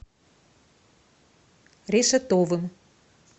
решетовым